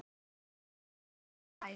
Fólki er nánast sama hverju það klæð